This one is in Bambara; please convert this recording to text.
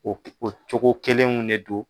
O o cogo kelenw ne do.